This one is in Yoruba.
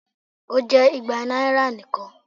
O jẹ igba naira nikan